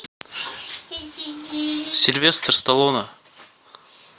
сильвестр сталлоне